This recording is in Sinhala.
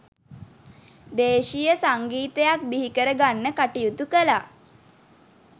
දේශීය සංගීතයක් බිහිකර ගන්න කටයුතු කළා.